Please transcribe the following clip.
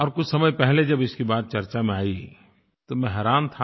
और कुछ समय पहले जब इसकी बात चर्चा में आई तो मैं हैरान था